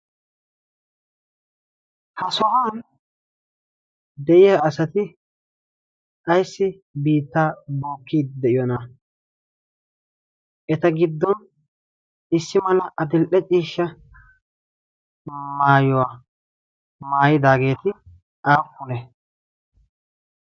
ha so'an de'iya asati ayssi biittaa bookkii de'iyoonaa? eta giddon issi mala atilde ciishsha maayuwaa maayidaageeti aappune?